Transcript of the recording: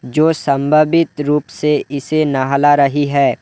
जो संभावित रूप से इसे नहला रही है।